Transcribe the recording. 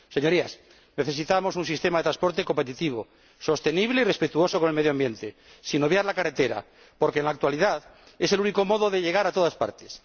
Señorías, necesitamos un sistema de transporte competitivo, sostenible y respetuoso con el medio ambiente, sin obviar la carretera, porque en la actualidad es el único modo de llegar a todas partes.